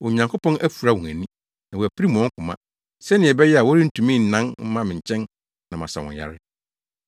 “Onyankopɔn afura wɔn ani, na wapirim wɔn koma, sɛnea ɛbɛyɛ a wɔrentumi nnan mma me nkyɛn na masa wɔn yare.”